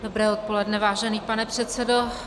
Dobré odpoledne, vážený pane předsedo.